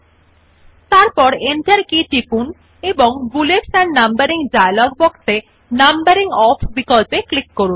আপনি দেখতে যে বুলেট শৈলী নেই নতুন টেক্সট যা টাইপ করতে হবে জন্য উপলব্ধ you see that the bullet style is no longer available for the new text which you will type